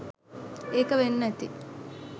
ඒක වෙන්න ඇති